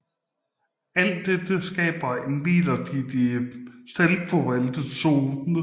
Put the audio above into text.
Alt dette skaber en midlertidig selvfovaltet zone